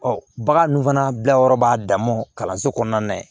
Ɔ bagan dun fana bilayɔrɔ b'a dama kalanso kɔnɔna na yen